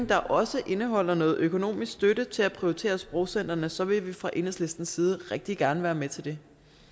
der også indeholder noget økonomisk støtte til at prioritere sprogcentrene så vil vi fra enhedslistens side rigtig gerne være med til det